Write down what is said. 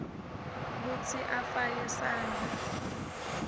kutsi afake sandla